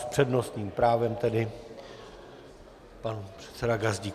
S přednostním právem tedy pan předseda Gazdík.